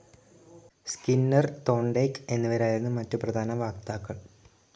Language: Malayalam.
സ്കിന്നർ, തോണ്ടെയ്ക്ക് എന്നിവരായിരുന്നു മറ്റു പ്രധാന വക്താക്കൾ.